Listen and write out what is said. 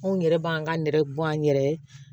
Anw yɛrɛ b'an ka nɛrɛ bɔn an yɛrɛ ye